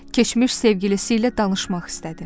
Keçmiş sevgilisi ilə danışmaq istədi.